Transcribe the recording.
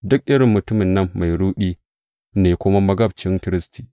Duk irin mutumin nan mai ruɗi ne kuma magabcin Kiristi.